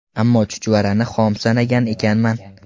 Ammo chuchvarani xom sanagan ekanman.